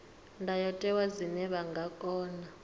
ndayotewa zwine vha nga kona